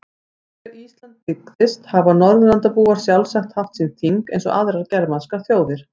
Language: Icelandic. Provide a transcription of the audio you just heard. Þegar Ísland byggðist hafa Norðurlandabúar sjálfsagt haft sín þing eins og aðrar germanskar þjóðir.